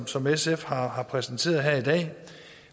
som sf har har præsenteret her i dag